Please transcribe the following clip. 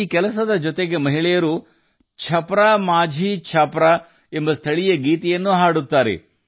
ಈ ಕಾರ್ಯದ ಜೊತೆಗೆ ಮಹಿಳೆಯರು ಸ್ಥಳೀಯ ಹಾಡು ಛಪ್ರಾ ಮಾಝಿ ಛಾಪ್ರಾ ಅನ್ನು ಸಹ ಹಾಡುತ್ತಾರೆ